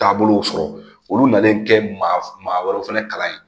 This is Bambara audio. Taabolow sɔrɔ olu nanalen kɛ ma maa wɛrɛ fana kalan yen